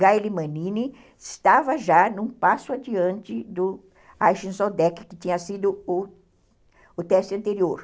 Galimanine estava já num passo adiante do Aixinzodec, que tinha sido o o teste anterior.